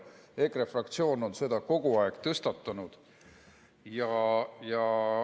EKRE fraktsioon on seda kogu aeg tõstatanud.